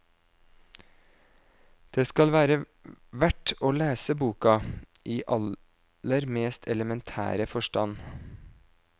Det skal være verd å lese boka, i aller mest elementære forstand.